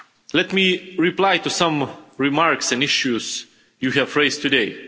Let me reply to some remarks and issues you have raised today.